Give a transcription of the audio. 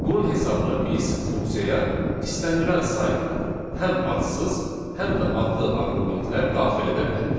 Bunun hesabına biz funksiyaya istənilən sayda həm adsız, həm də adlı arqumentlər daxil edə bilərik.